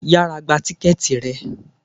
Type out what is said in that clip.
Yára gba tíkẹ́ẹ̀tì rẹ.